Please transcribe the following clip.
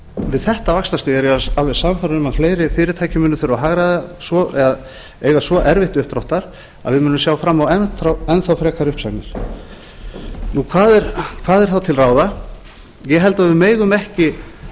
við þetta vaxtastig er ég alveg sannfærður um að fleiri fyrirtæki munu þurfa að hagræða svo eða eiga svo erfitt uppdráttar að við munum sjá fram á enn þá frekari uppsagnir hvað er þá til ráða ég held að við megum ekki